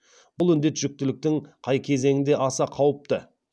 бұл індет жүктіліктің қай кезеңінде аса қауіпті